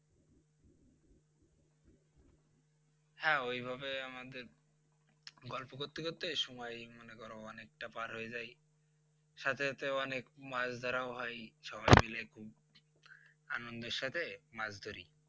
হ্যাঁ ওইভাবে আমাদের গল্প করতে করতে সময় মনে করো অনেকটা পার হয়ে যায় সাথে সাথে অনেক মাছ ধরাও হয় সবাই মিলে খুব আনন্দের সাথে মাছ ধরি